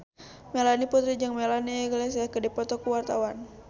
Melanie Putri jeung Melanie Iglesias keur dipoto ku wartawan